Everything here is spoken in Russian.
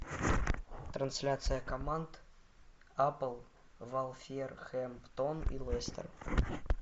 трансляция команд апл вулверхэмптон и лестер